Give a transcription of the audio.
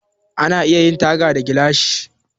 Ana iya yin taga da gilashi.